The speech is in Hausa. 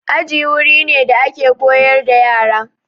Aji wuri ne da ake koyar da yara.